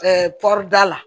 pɔruda la